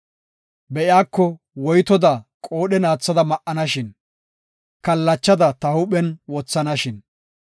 Be7iyako woytoda qoodhen aathada ma7anashin, Kallachada ta huuphen wothanashin!